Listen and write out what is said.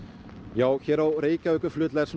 jú hér á Reykjavíkurflugvelli er